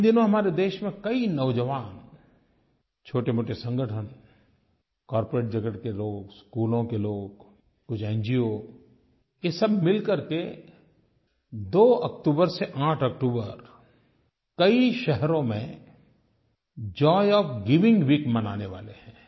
इन दिनों हमारे देश में कई नौजवान छोटेमोटे संगठन कॉर्पोरेट जगत के लोग स्कूलों के लोग कुछ एनजीओ ये सब मिल करके 2 अक्टूबर से 8 अक्टूबर कई शहरों में जॉय ओएफ गिविंग वीक मनाने वाले हैं